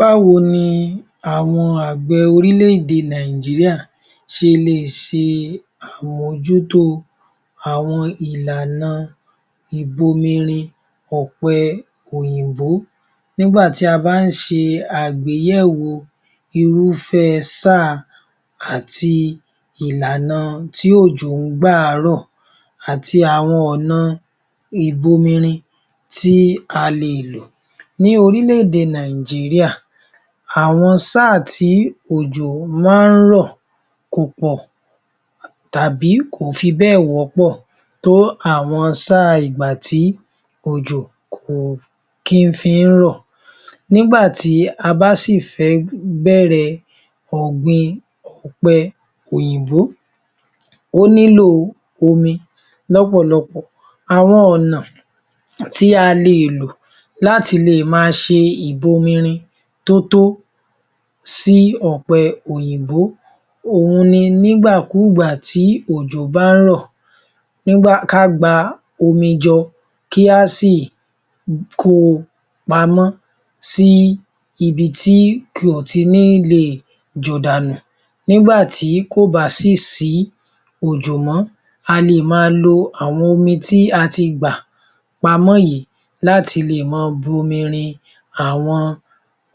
Báwo ni àwọn àgbẹ̀ orílẹ̀-èdè Nàìjíríà sẹ le è ṣe àmójútó àwọn ìlànà ìbomirin ọ̀pẹ òyìnbó, nígbà tí a bá ń ṣe àgbéyèwò irúfẹ́ sáà àti ìlànà tí òjò ń gbà á rọ̀ àti àwọn ọ̀nà ìbomirin tí a le è lò. Ní orílẹ̀-èdè Nàìjíríà, àwọn sáà tí òjò má ń rọ̀ kò pọ̀ tàbí kò fi bé ẹ̀ wọ́pọ̀ tó àwọn sáà ìgbà tí òjò kò kín fi ń rọ̀. Nígbà tí a bá sì fẹ́ bẹ̀rẹ̀ ọ̀gbìn ọ̀pẹ òyìnbó ó nílò omi lọ́pọ̀lọpọ̀, àwọn ọ̀nà tí a le è lò láti lè mà ṣe ìbomirin tótó sí ọ̀pẹ òyìnbó òhún ni, nígbàkúùgbà tí òjò bá ń rọ̀ ká gba omi jọ, kí á sì kó o pamọ́ sí ibi tí kò ti ní le è jò dà nù. Nígbà tí ò bá sì sí òjò mọ́, a le è ma lo àwọn omi tí ati gbà pamọ́ yìí láti le è ma bomirin àwọn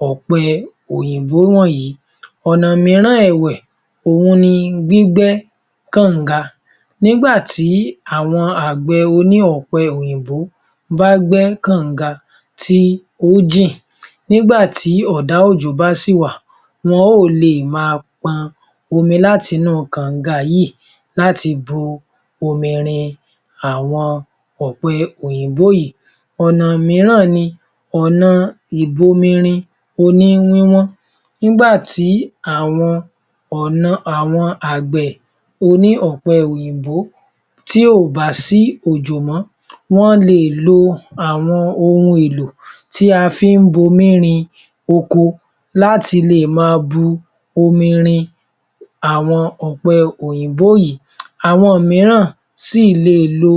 ọ̀pẹ òyìnbó wọ̀nyí. Ọ̀nà míràn ẹ̀wẹ̀, òhun ni gbígbẹ́ kànga. Nígbà tí àwọn àgbẹ̀ oní ọ̀pẹ òyìnbó bá gbẹ́ kànga tí ó jìn nígbà tí ọ̀dá òjò bá sì wà, wọn ó le è ma pọn omi láti inú kànga yìí láti bu omi rin àwọn ọ̀pẹ òyìnbó yìí. Ọ̀nà míràn ni, ọ̀nà ìbomirin oní wíwọ́n. Nígbà tí àwọn àgbẹ̀ oní ọ̀pẹ òyìnbó tí ò bá sí òjò mọ́, wọ́n le è lo àwọn ohun èlò tí a fín bu omi rin oko láti le è ma bu omi rin àwọn ọ̀pẹ òyìnbó yìí. Àwọn míràn sì le è lo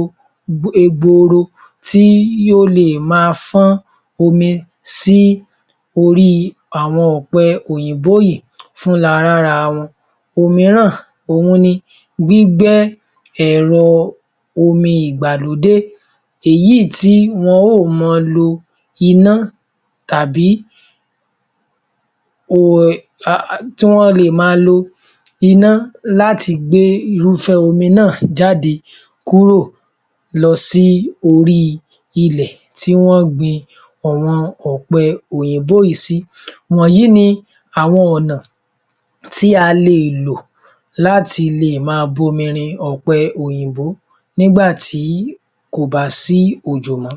egboro tí yóò le è ma fọ́n omi sí orí àwọn ọ̀pẹ òyìnbó yìí fúnra lárawọn. Òmíràn òhun ni gbígbẹ́ ẹ̀rọ omi ìgbàlódé èyí tí wọn ó ò ma lo iná láti gbe irúfẹ́ omi náà jáde kúro lọ sí orí ilẹ̀ tí wọ́n gbin àwọn ọ̀pẹ òyìnbó yìí sí. Wọ̀nyí ni àwọn ọ̀nà tí a le è lò láti le è ma bomirin ọ̀pẹ òyìnbó nígbà tí kò bá sí òjò mọ́.